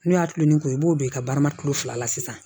N'o y'a tulon ni ko ye i b'o don i ka baara tulo fila la sisan